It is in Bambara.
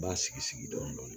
N b'a sigi sigi dɔɔnin